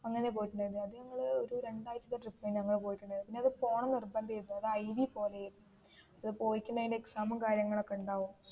അങ്ങനെ പോയിട്ടുണ്ടായിരുന്നു അത് ഞങ്ങൾ ഒരു രണ്ടാഴ്ച്ചത്തെ ട്രിപ്പ് ഞങ്ങൾ പോയിട്ടുണ്ടായിരുന്നു പിന്നേ അതു പോണം എന്ന് നിർബന്ധം ആയിരുന്നു IV പോലെ ആയിരുന്നു അതു പോയിട്ട് ഉണ്ടേൽ എക്സാം ഉം കാര്യങ്ങൾ ഒക്കേ ഉണ്ടാവും